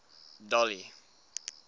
dolly